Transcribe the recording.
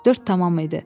Dörd tamam idi.